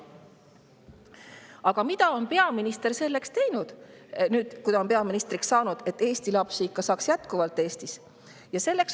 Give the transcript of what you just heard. Aga mida on peaminister selleks teinud nüüd, kui ta on peaministriks saanud, et Eesti lapsi ikka jätkuvalt Eestist saaks?